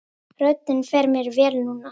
Röddin fer mér vel núna.